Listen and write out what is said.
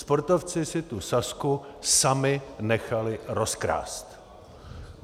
Sportovci si tu Sazku sami nechali rozkrást.